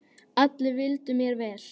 Allir vildu mér vel.